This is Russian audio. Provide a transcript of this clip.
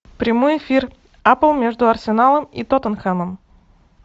прямой эфир апл между арсеналом и тоттенхэмом